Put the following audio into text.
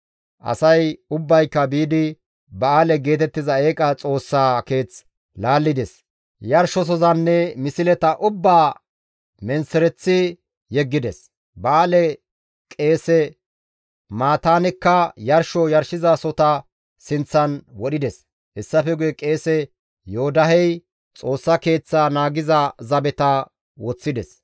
Asay ubbayka biidi ba7aale geetettiza eeqa xoossaa keeth laallides; yarshosozanne misleta ubbaa menththereththi yeggides; ba7aale qeese Mataanekka yarsho yarshizasohota sinththan wodhides. Hessafe guye qeese Yoodahey Xoossa Keeththaa naagiza zabeta woththides.